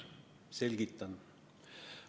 Selgitan.